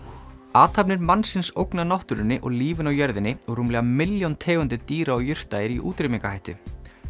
athafnir mannsins ógna náttúrunni og lífinu á jörðinni og rúmlega milljón tegundir dýra og jurta eru í útrýmingarhættu